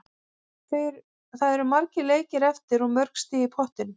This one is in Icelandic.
Það eru margir leikir eftir og mörg stig í pottinum.